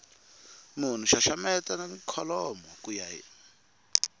munhu xaxameta kholomo ku ya